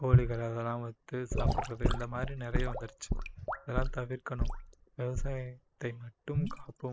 கோழிகள் அதெல்லாம் வருத்து சாப்பிடுறது இந்த மாதிரி நிறைய வந்துடுச்சு இதெல்லாம் தவிர்க்கணும். விவசாயத்தை மட்டும் காப்போம்